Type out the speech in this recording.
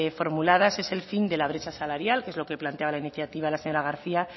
formuladas es el fin de la brecha salarial que es lo que planteaba la iniciativa la señora garcía